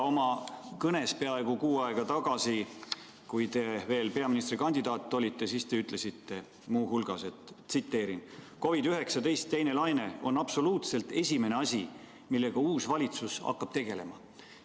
Oma kõnes peaaegu kuu aega tagasi, kui te veel peaministrikandidaat olite, siis te ütlesite muu hulgas: "COVID-19 teine laine on absoluutselt esimene asi, millega uus valitsus hakkab tegelema.